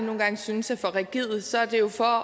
synes er for rigide så er det jo for